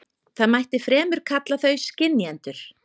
Það mætti fremur kalla þau skynjendur.